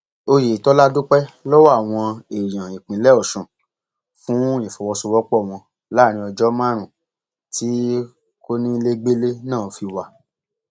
oyetola dúpẹ lọwọ àwọn èèyàn ìpínlẹ ọsùn fún ìfọwọsowọpọ wọn láàrin ọjọ márùnún tí kọnilẹgbẹlẹ náà fi wà